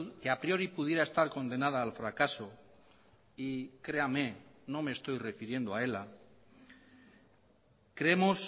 que a priori pudiera estar condenada al fracaso y creame no me estoy refiriendo a ela creemos